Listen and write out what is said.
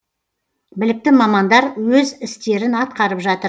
білікті мамандар өз істерін атқарып жатыр